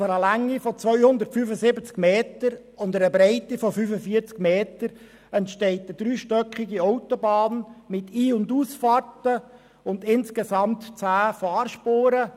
Auf einer Länge von 275 Metern und einer Breite von 45 Metern entsteht eine dreistöckige Autobahn mit Ein- und Ausfahrten und insgesamt 10 Fahrspuren.